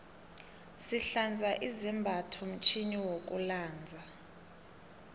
sihlanza izambatho mtjhini wokulanza